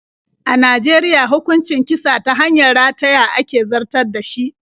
A Najeriya hukuncin kisa ta hanyar rataya ake zartar da shi.